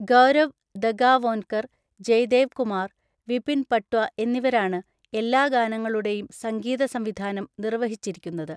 ഗൌരവ് ദഗാവോൻകർ, ജയ്ദേവ് കുമാർ, വിപിൻ പട്വ എന്നിവരാണ് എല്ലാ ഗാനങ്ങളുടെയും സംഗീതസംവിധാനം നിർവ്വഹിച്ചിരിക്കുന്നത്.